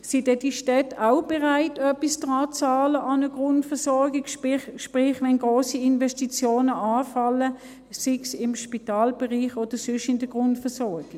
Sind denn die Städte auch bereit, etwas an eine Grundversorgung zu bezahlen, sprich, wenn grosse Investitionen anfallen, sei es im Spitalbereich oder sonst in der Grundversorgung?